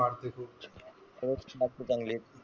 बातमी खूप, खरंच बातमी चांगली आहे.